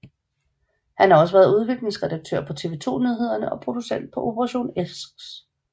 Han har også været udviklingsredaktør på TV 2 Nyhederne og producent på Operation X